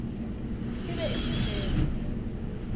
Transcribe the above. e be e se leo